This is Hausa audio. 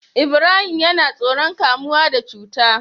Ibrahim yAna tsoron kamuwa da cuta